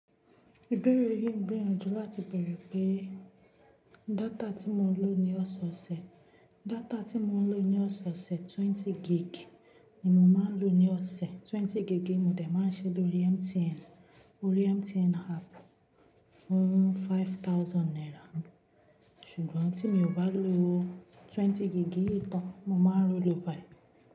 Ìbéèrè yìí ń gbèyanò jù láti bèèrè pé data tí mo ń lò ní ọ̀sẹ̀ ọ̀sẹ̀, data tí mo ń lò ní ọ̀sẹ̀ ọ̀sẹ̀ twenty gig ni mo máa ń lò ní ọ̀sẹ̀. Twenty gig ní mo dè máa ń ṣe lórí MTN, orí MTN app fún five thousand naira. Ṣùgbọ́n tí mi ò bá lò twenty gig yìí tán, mo máa ń rollover.